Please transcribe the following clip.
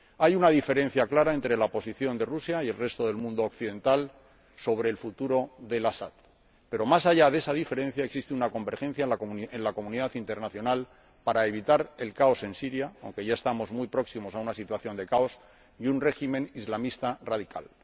Hay una diferencia clara entre la posición de Rusia y la del resto del mundo occidental sobre el futuro de El Asad, pero más allá de esa diferencia existe una convergencia en la comunidad internacional para evitar el caos en Siria aunque ya estamos muy próximos a una situación de caos y un régimen islamista radical.